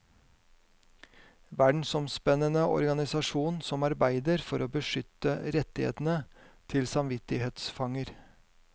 Verdensomspennende organisasjon som arbeider for å beskytte rettighetene til samvittighetsfanger.